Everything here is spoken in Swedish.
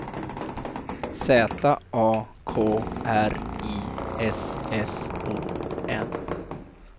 Z A K R I S S O N